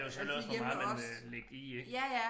Det jo selvfølgelig også hvor meget man vil lægge i ik